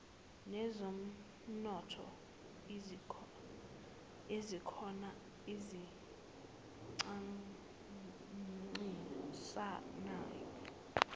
nezomnotho ezikhona ezincintisanayo